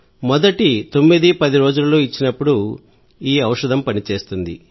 మొదటి 910 రోజులలో ఇచ్చినప్పుడు ఈ ఔషధం పనిచేస్తుంది